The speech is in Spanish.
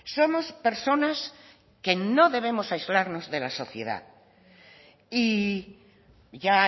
somos personas que no debemos aislarnos de la sociedad y ya